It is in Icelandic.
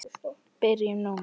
Byrjum núna.